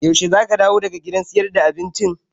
Yaushe zaka dawo daga gidan siyar da abincin?